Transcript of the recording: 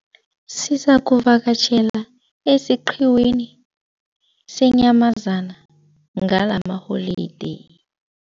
Sizakuvakatjhela esiqhiwini seenyamazana ngalamaholideyi.